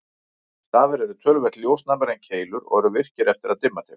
Stafir eru töluvert ljósnæmari en keilur og eru virkir eftir að dimma tekur.